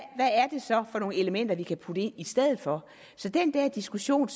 er det så for nogle elementer vi kan putte ind i stedet for så det er en diskussion